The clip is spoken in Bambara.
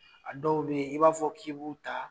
A dɔw be ye i b'a fɔ k' i bu ta